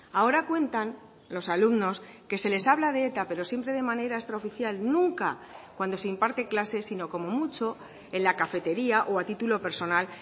ahora cuentan los alumnos que se les habla de eta pero siempre de manera extraoficial nunca cuando se imparte clases sino como mucho en la cafetería o a título personal